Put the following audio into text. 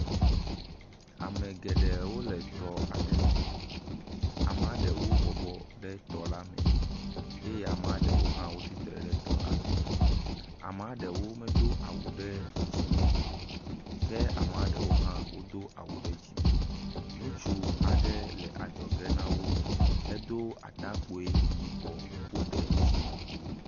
Ame le tɔ aɖe me. Amea ɖewɔ ɖe tɔ la me eye amea ɖewo hã wotsi tre ɖe tɔ la me. Amea ɖewo medo awu ɖe dzim o ke amea ɖewo hã wodo awu ɖe dzime. Ŋutsu aɖe le adzɔge na wo edo atakui yibɔ woɖe dzime kpo.